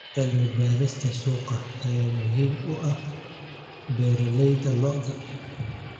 Cilmi-baarista suuqa ayaa muhiim u ah beeralayda lo'da.